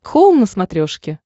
хоум на смотрешке